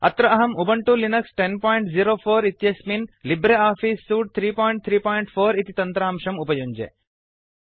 अत्र अहम् Ubuntu Linux 1004 इत्यस्मिन् लिब्रे आफीस् सूट् 334 इति तन्त्रांशं उपयुञ्जे